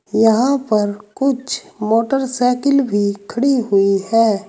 यहां पर कुछ मोटरसाइकिल भी खड़ी हुई है।